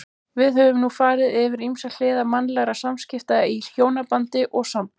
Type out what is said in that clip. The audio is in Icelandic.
Við höfum nú farið yfir ýmsar hliðar mannlegra samskipta í hjónabandi og sambúð.